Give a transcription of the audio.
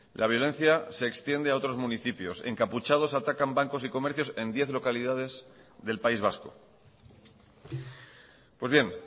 la violencia se extiende a otros municipios encapuchados atacan bancos y comercios en diez localidades del país vasco pues bien